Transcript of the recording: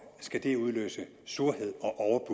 skal det udløse surhed